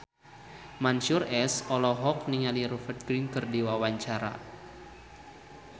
Mansyur S olohok ningali Rupert Grin keur diwawancara